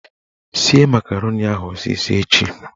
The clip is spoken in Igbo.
Sie makaroni ahụ ọsịsọ echi!